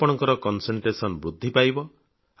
ଆପଣଙ୍କ କନସେଣ୍ଟ୍ରେସନ ଏକାଗ୍ରତା ବୃଦ୍ଧି ପାଇବ